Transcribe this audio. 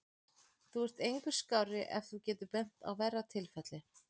Þú ert engu skárri ef þú getur bent á verra tilfelli.